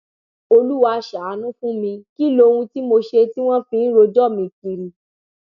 olúwa ṣàánú fún mi kí lohun tí mo ṣe tí wọn fi ń rojọ mi kiri